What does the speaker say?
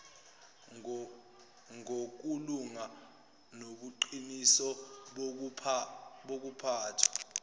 ngokulunga nobuqiniso bokuphathwa